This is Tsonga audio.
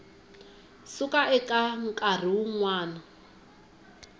suka eka nkarhi wun wana